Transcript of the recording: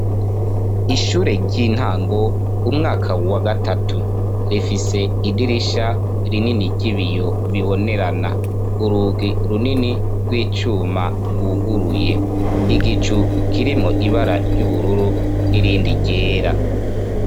Ishure ry'intango umwaka wa gatatu rifise idirisha rinini ry'ibiyo bibonerana urugi runini gw'icuma gwuguruye igicu kirimwo ibara ry'ubururu n'irindi ryera.